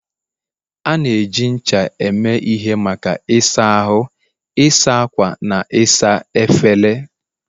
A na-eji ncha eme ihe maka ịsa ahụ, ịsa ákwà, na ịsa efere.